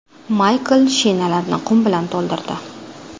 Maykl shinalarni qum bilan to‘ldirdi.